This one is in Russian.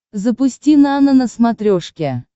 запусти нано на смотрешке